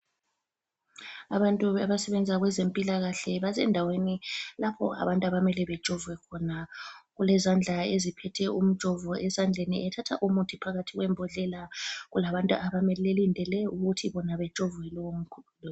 Abantu abasebenza kwezempilakahle basendaweni lapho abantu abamele bejovwe khona. Olezandla eziphethe umjovo esandleni ethatha umuthi phakathi kwembondlela. Kulabantu abamileyo abalindele ukuthi bajove lowo